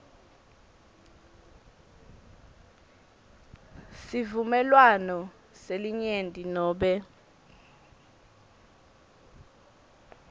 sivumelwano selinyenti nobe